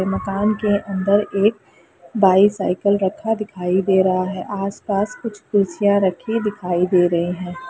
ये मकान के अंदर एक बाइसिकल रखा दिखाई दे रहा है आस-पास कुछ कुर्सियाँ रखी दिखाई दे रही हैं।